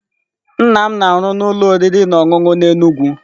Nnam m na-arụ ụlọ oriri na ọṅụṅụ n'Enugwu.